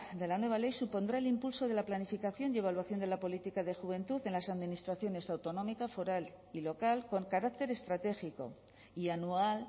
de la nueva ley supondrá el impulso de la planificación y evaluación de la política de juventud en las administraciones autonómica foral y local con carácter estratégico y anual